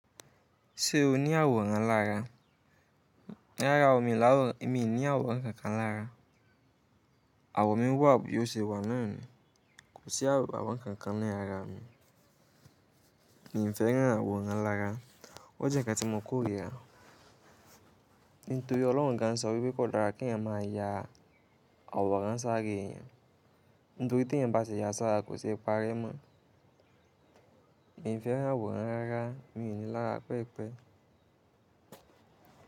Ṣé o ní àwòrán lára? Rárá o, mi ò laworan min ní àwòrán kankan lára. Àwọ mi wà bí o ṣe wà naani. Kò sí àwòrán kankan ní ara mi. Mi n fẹ́ rán àwòrán lára. O jẹ́ ǹkan tí mo kórìíra. Nítorí ọlọ́run gan sọ wí kò dára kí ẹ̀yàn máa ya àwòrán sáré ẹ̀yàn. Nítorí tẹ̀yàn bá ti ya sára, kò ṣe é parẹ mọ́. Mi n fẹ́ rán àwòrán rárá, mi n ní i lára pẹ́ẹ̀pẹ́.